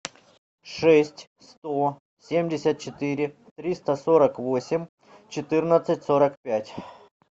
шесть сто семьдесят четыре триста сорок восемь четырнадцать сорок пять